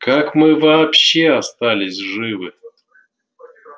как мы вообще остались живы